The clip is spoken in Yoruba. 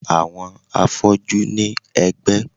Àwọn afọ́jú ní ẹ̀gbẹ́